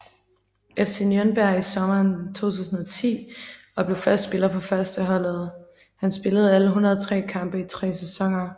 FC Nürnberg I sommeren 2010 og blev fast spiller på førsteholdet Han spillede alle 103 kampe i tre sæsoner